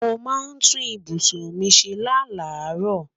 Mo mà tún ìbùṣún mi ṣẹ́ lá laro